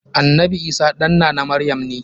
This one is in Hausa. Annanbi Isah ɗan nana maryam ne.